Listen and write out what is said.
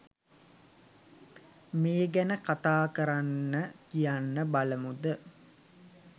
මේ ගැන කතා කරන්න කියන්න බලමුද?